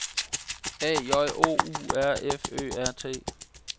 A J O U R F Ø R T